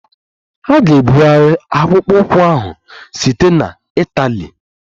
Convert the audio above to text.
A ga-ebugharị akpụkpọ ụkwụ ahụ site na Itali.